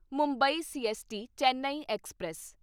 Mumbai CST Chennai express